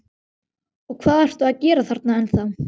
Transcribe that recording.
Og hvað ertu að gera þarna ennþá?